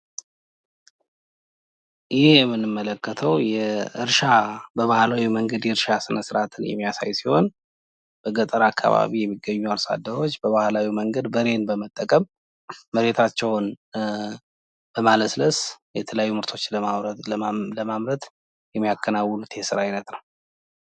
ይህ የምንመለከተው የእርሻ በባህላዊ መንገድ የእርሻ ስነስርአትን የሚያሳይ ሲሆን በገጠር አካባቢ የሚገኙ አርሷደሮች በባህላዊ መንገድ በሬን በመጠቀም መሬታቸውን በማለስለስ የተለያዩ ምርቶችን ለማምረት የሚያከናውኑት የስራ አይነት ነው።